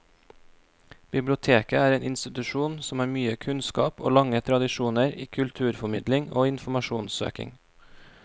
Biblioteket er en institusjon som har mye kunnskap og lange tradisjoner i kulturformidling og informasjonssøking.